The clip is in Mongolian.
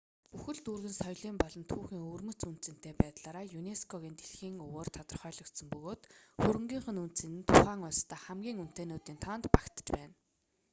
бүхэл дүүрэг нь соёлын болон түүхийн өвөрмөц үнэ цэнэтэй байдлаараа юнеско-гийн дэлхийн өвөөр тодорхойлогдсон бөгөөд хөрөнгийнх нь үнэ цэнэ нь тухайн улсдаа хамгийн үнэтэйнүүдийн тоонд багтаж байна